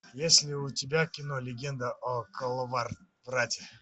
есть ли у тебя кино легенда о коловрате